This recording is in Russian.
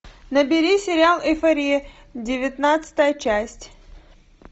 набери сериал эйфория девятнадцатая часть